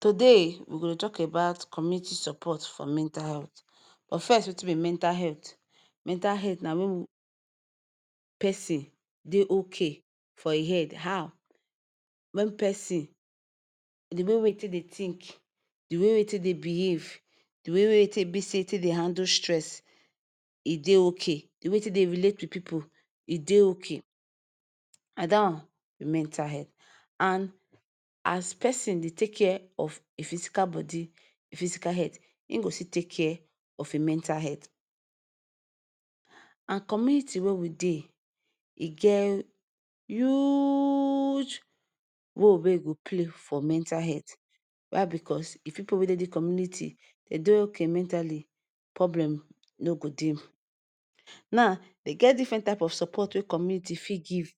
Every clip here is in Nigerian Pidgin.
Today we go dey tok about community support for mental health. But first, wetin be mental health? Mental health na wen we pesin dey okay for im head. How? wen pesin the way wey em take dey think, di way wey e take dey behave, di way wey e take dey handle stress e dey okay. Di way wey e take dey relate wit pipu, e dey okay. Na dat one be mental health. And as pesin dey take care of im physical body, im physical health, im go still take care of im mental health. And community wey we dey, e get huge!!!!! role wey e go play for mental health. Why? Bicos if di pipu wey dey di community dem dey okay mentally, problem no go dey. Now, e get diffren type of support wey community fit give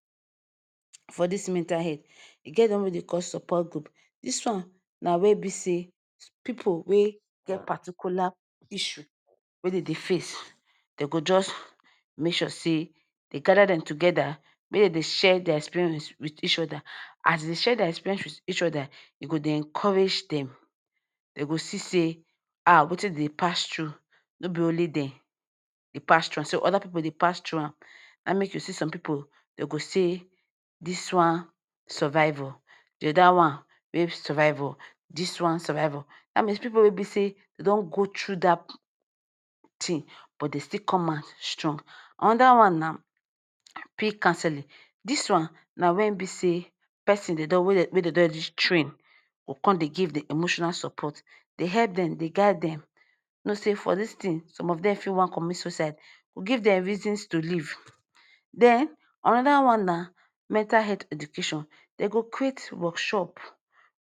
for dis mental health. E get one wey dem dey call support group. Dis one na wen be say pipu wey get particular issue wey dem dey face dey go just make sure say dey gada dem togeda make dem dey share dia experience wit each oda. As dem dey share dia experience, e dey encourage dem. Dem go see say ah, wetin dem dey pass through no be only dem dey pass through am, oda pipu dey pass through am. Na em make you see some pipu dey go say, “Dis one survive o,” “Di oda one wey survive o.” “Dis one survive o”that Mean say pipu wey be say dey don go through dat tin but dem still come out strong. Anoda one na peer counseling. Dis one na wen be say pesin wey dem don train, go come dey give dem emotional support dey help dem dey guide dem. You know say for dis tin person some of dem fit wan commit suicide, you give dem reason to live. Den anoda one na mental health education. Dem go create workshop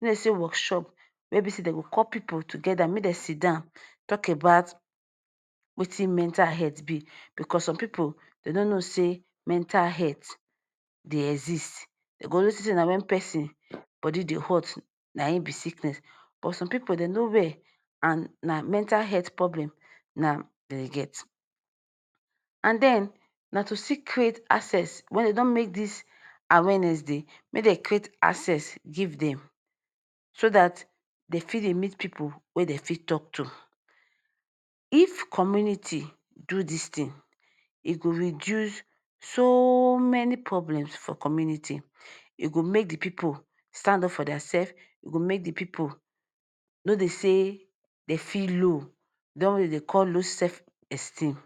wey be say workshop wey dem go call pipu togeda, make dem sidon tok about wetin mental health be. Bicos some pipu dem no know say mental health dey exist. Dem go only think say na wen pesin body dey hot, na im be sickness. But some pipu dey no well, and na mental health problem na dem get. And den na to still create access wen dem don make dis awareness dey, make dem create access give them so dat dey fit dey meet pipu wey dey fit tok to. If community do dis tin, e go reduce soo!!!! Many problems for community. E go make di pipu stand up for dia sef, E go make di pipu no dey feel low, di one wey dem dey call self low esteem..